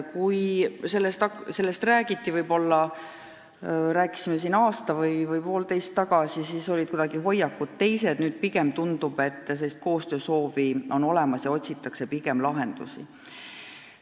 Kui sellest räägiti aasta või poolteist tagasi, siis olid hoiakud teised, nüüd pigem tundub, et koostöösoov on olemas ja tõesti otsitakse lahendusi.